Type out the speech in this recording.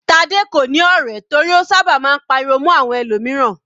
Tade kò ní ọ̀rẹ́ torí ó sábà máa ń pariwo mọ́ àwọn ẹlòmíràn.